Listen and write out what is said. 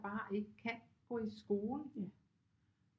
Bare ikke kan gå i skole